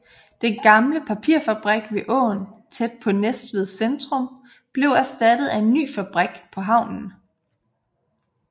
Den gamle papirfabrik ved åen tæt på Næstveds centrum blev erstattet af en ny fabrik på havnen